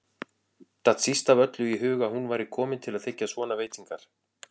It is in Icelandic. Datt síst af öllu í hug að hún væri komin til að þiggja svona veitingar.